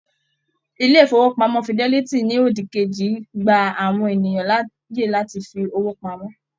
Ilé ifowopamọ Fidelity ní òdì kejì gbà àwọn ènìyàn láàyè láti fí owó pamọ́.